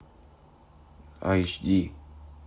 айч ди